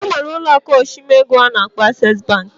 Enwere ụlọ aku ochimego nke ana akpo Access Bank.